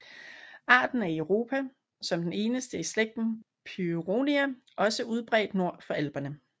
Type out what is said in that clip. Arten er i Europa som den eneste i slægten Pyronia også udbredt nord for Alperne